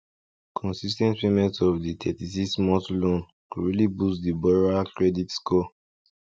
consis ten t payment of the thirty six month loan go really boost the borrower credit score